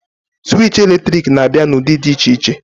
Sụwich eletrik na-abịa n'ụdị dị iche iche.